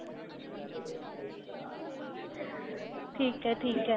ਠੀਕ ਏ ਠੀਕ ਏ